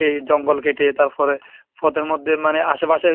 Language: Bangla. এই জঙ্গল কেটে তারপরে পথের মধ্যে মানে আশেপাশে,